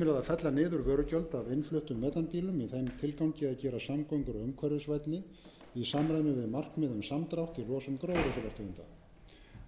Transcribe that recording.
fella niður vörugjöld af innfluttum metanbílum í þeim tilgangi að gera samgöngur umhverfisvænni í samræmi við markmið um samdrátt í losun gróðurhúsalofttegunda